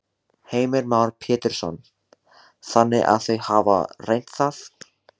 Heimir Már Pétursson: Þannig að þau hafa reynt það?